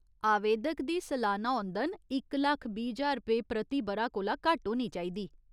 आवेदक दी सलाना औंदन इक लक्ख बीह् ज्हार रपेऽ प्रति ब'रा कोला घट्ट होनी चाहिदी।